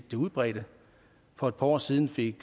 det udbredte for et par år siden fik